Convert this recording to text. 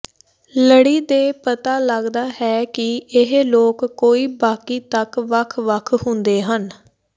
ਲੜੀ ਦੇ ਪਤਾ ਲੱਗਦਾ ਹੈ ਕਿ ਇਹ ਲੋਕ ਕੋਈ ਬਾਕੀ ਤੱਕ ਵੱਖ ਵੱਖ ਹੁੰਦੇ ਹਨ